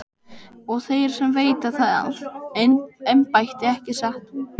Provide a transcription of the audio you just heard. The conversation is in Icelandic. Og þeir sem veita það embætti, ekki satt?